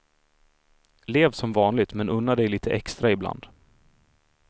Lev som vanligt, men unna dig lite extra ibland.